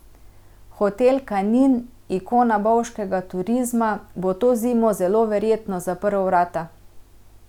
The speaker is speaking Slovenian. Hotel Kanin, ikona bovškega turizma, bo to zimo zelo verjetno zaprl vrata.